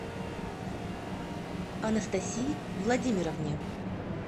анастасии владимировне